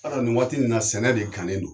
Ba dɔ nin waati in na sɛnɛ de gannen don.